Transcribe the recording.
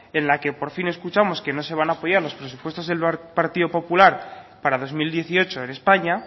en la que por fin escuchamos que no se van a apoyar los presupuestos del partido popular para dos mil dieciocho en españa